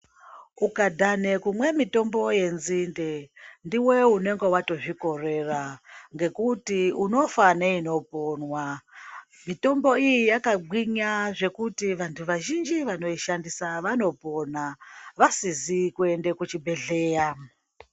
Ukadhane kumwe mitombo yenzinde ,ndiwe unenga watozvikorera, ngekuti unofa neinoponwa. Mitombo iyi yakagwinya zvekuti vantu vazhinji vanoishandisa vanopona, vasizi kuende kuchibhedhleya.